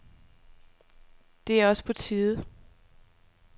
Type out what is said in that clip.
Det er også på tide.